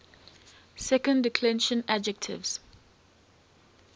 second declension adjectives